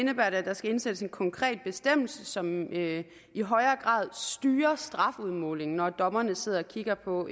der skal indsættes en konkret bestemmelse som i højere grad styrer strafudmålingen når dommerne sidder og kigger på